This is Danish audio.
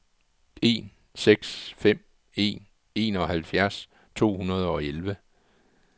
en seks fem en enoghalvfjerds to hundrede og elleve